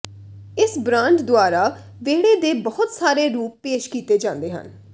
ਇਸ ਬ੍ਰਾਂਡ ਦੁਆਰਾ ਵੇਹੜੇ ਦੇ ਬਹੁਤ ਸਾਰੇ ਰੂਪ ਪੇਸ਼ ਕੀਤੇ ਜਾਂਦੇ ਹਨ